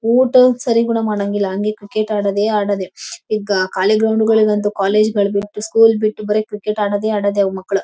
ಊಟೋಪಚಾರ ಕೂಡ ಮಾಡಾಂಗಿಲ್ಲ ಹಂಗೆ ಕ್ಸ್ರಿಕೆಟ್ ಆಡೋದೇ ಆಡೋದೇ ಈಗ ಖಾಲಿ ಗ್ರೌಂಡ್ ಗಳಿಗಂತೂ ಕಾಲೇಜು ಬಿಟ್ಟು ಸ್ಕೂಲ್ ಬಿಟ್ಟು ಬರಿ ಕ್ರಿಕೆಟ್ ಆಡೋದೇ ಆಡೋದೇ ಮಕ್ಕಳು.